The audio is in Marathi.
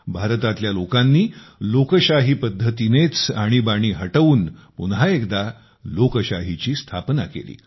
भारतातल्या लोकांनी लोकशाही पद्धतीनेच आणीबाणी हटवून पुन्हा एकदा लोकशाहीची स्थापना केली